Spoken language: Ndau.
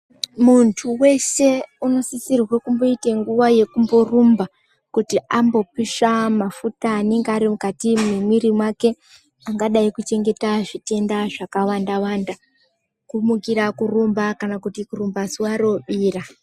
Muntu wese uno sisirwe kumbo ite nguva yekumbo rumba kuti ambo pisha mafuta anenge ari mukati me mwiri wake angadai ku chengeta zvitenda zvaka wanda wanda ku mukira kurumba kana kuti kurumba zuva robira.